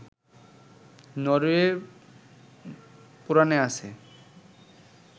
নরওয়ের পুরাণে আছে